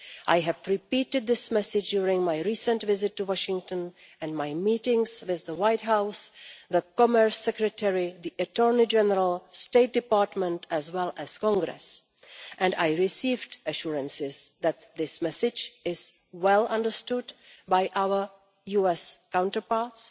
I have repeated this message during my recent visit to Washington and my meetings with the White House, the Commerce Secretary, the Attorney General State Department as well as Congress, and I received assurances that this message is well understood by our US counterparts,